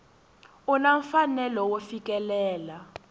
u na mfanelo wo fikelela